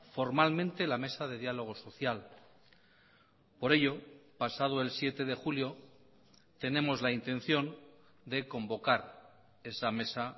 formalmente la mesa de diálogo social por ello pasado el siete de julio tenemos la intención de convocar esa mesa